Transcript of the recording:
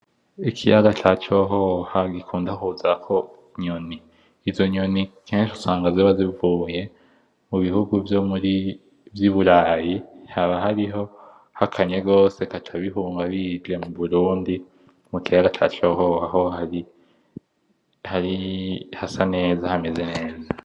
Ikiyaga ca Cohoha gikunda kuzako inyoni, izo nyoni kenshi usanga ziba zivuye mu bihugu vyo muri vy'iburayi, haba hariho hakanye gose bikata bihunga bije mu Burundi mu kiyaga ca Cohoha, hari hasa neza, hameze neza.